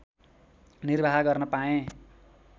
निर्वाह गर्न पाएँ